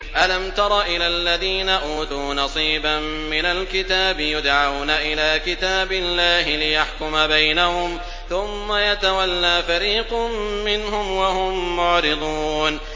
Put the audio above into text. أَلَمْ تَرَ إِلَى الَّذِينَ أُوتُوا نَصِيبًا مِّنَ الْكِتَابِ يُدْعَوْنَ إِلَىٰ كِتَابِ اللَّهِ لِيَحْكُمَ بَيْنَهُمْ ثُمَّ يَتَوَلَّىٰ فَرِيقٌ مِّنْهُمْ وَهُم مُّعْرِضُونَ